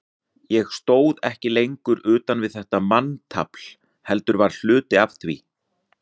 Ég stóð ekki lengur utan við þetta manntafl, heldur var hluti af því.